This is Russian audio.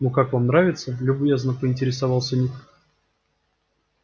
ну как вам нравится любезно поинтересовался ник